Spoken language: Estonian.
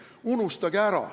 Unustage ära!